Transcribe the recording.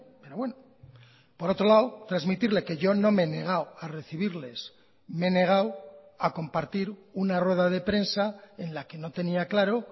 pero bueno por otro lado transmitirle que yo no me he negado a recibirles me he negado a compartir una rueda de prensa en la que no tenía claro